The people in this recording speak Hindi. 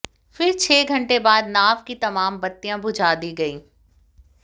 फिर छह घंटे बाद नाव की तमाम बत्तियां बुझा दी गईं